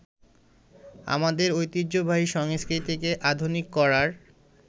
আমাদের ঐতিহ্যবাহী সংস্কৃতিকে আধুনিক করার